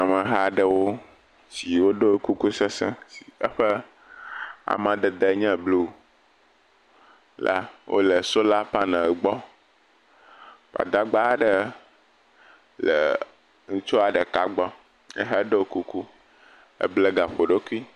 Ameha aɖewo siwo ɖo kuku sesẽ yike eƒe amadede nye blu la wole sola panel gbɔ. Gbadagba aɖe le ŋutsua ɖeka gbɔ, ye hã ɖɔ kuku, eble gaƒoɖokui.